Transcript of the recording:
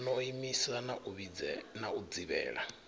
no imisa na u dzivhela